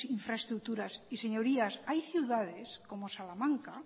infraestructuras señorías hay ciudades como salamanca